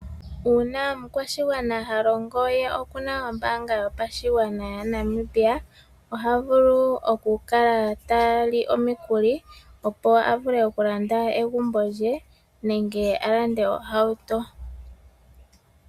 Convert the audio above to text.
Una omukwashigwana ha longo ye oku na ombaanga yotango yopashigwana yaNamibia oha vulu okukala ta li omikuli ,opo a vule okulanda egumbo lye nenge a lande ohauto.